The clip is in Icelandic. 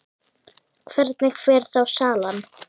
Hvernig fer þá salan?